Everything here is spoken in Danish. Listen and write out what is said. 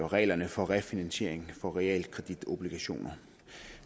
reglerne for refinansiering af realkreditobligationer